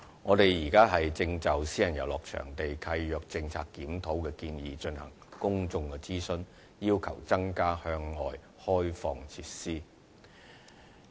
我們現正就私人遊樂場地契約政策檢討的建議進行公眾諮詢，要求承租人增加向外開放設施。